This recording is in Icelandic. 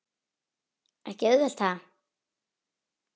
Ekki auðvelt ha?